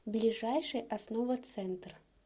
ближайший основа центр